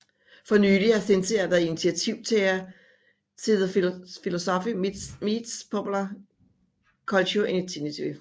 For nylig har Cynthia været initiativtager til The Philosophy Meets Popular Culture Initiative